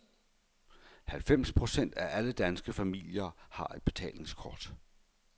Halvfems procent af alle danske familier har et betalingskort.